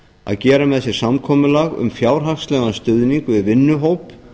að gera með sér samkomulag um fjárhagslegan stuðning við vinnuhóp